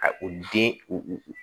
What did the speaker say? Ka u den u